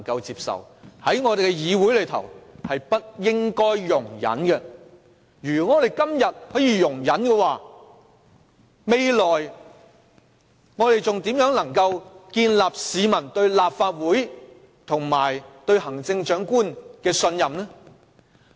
如我們今天容忍這種介入方式，未來還如何建立市民對立法會及行政長官的信任？